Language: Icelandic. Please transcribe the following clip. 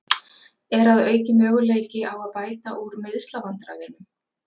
Er að auki möguleiki á að bæta úr meiðslavandræðunum?